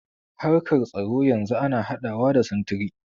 Harkar tsaro yanzu ana haɗawa da sintiri.